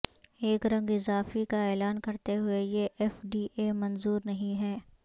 ایک رنگ اضافی کا اعلان کرتے ہوئے یہ ایف ڈی اے منظور نہیں ہے